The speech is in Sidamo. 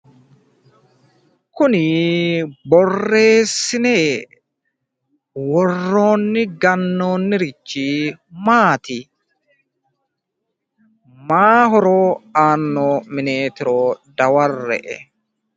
Kuni borreesine worronni ganoonnirichi maati? maayi horo aanno mineetiro dawarre"e